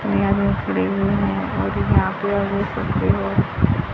यहां भी एक है।